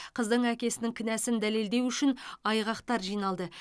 қыздың әкесінің кінәсін дәлелдеу үшін айғақтар жиналды